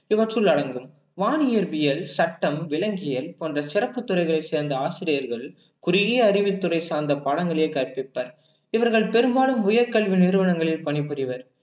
இவற்றுள் அடங்கும் வானியற்பியல், சட்டம், விலங்கியல் போன்ற சிறப்புத் துறைகளைச் சேர்ந்த ஆசிரியர்கள் குறுகிய அறிவுத்துறை சார்ந்த பாடங்களே கற்பிப்பர் இவர்கள் பெரும்பாலும் உயர் கல்வி நிறுவனங்களில் பணிபுரிவர்